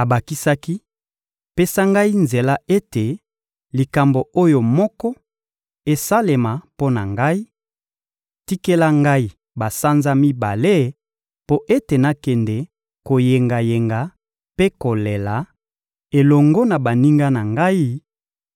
Abakisaki: — Pesa ngai nzela ete likambo oyo moko esalema mpo na ngai: Tikela ngai basanza mibale mpo ete nakende koyengayenga mpe kolela, elongo na baninga na ngai,